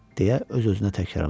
deyə öz-özünə təkrarladı.